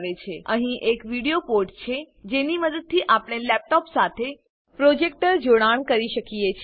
અહીં એક video port છે જેની મદદથી આપણે લેપટોપ સાથે પ્રોજેક્ટર જોડાણ કરી શકીએ છીએ